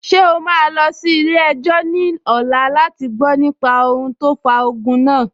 Ṣé o máa lọ sí ilé-ẹjọ́ ní ọ̀la láti gbọ nípa ohun tó fa ogun náà?